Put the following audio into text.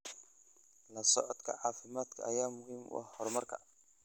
La socodka caafimaadka ayaa muhiim u ah horumarka.